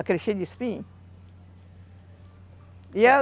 Aquele cheio de espinho?